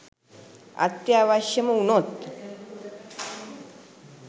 අත්‍යවශ්‍යම වුණොත්